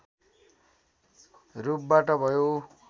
रूपबाट भयो